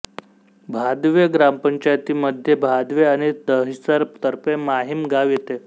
भादवे ग्रामपंचायतीमध्ये भादवे आणि दहिसर तर्फे माहीम गाव येते